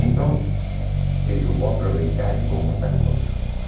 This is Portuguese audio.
Então, eu digo, vou aproveitar e vou montar o conjunto.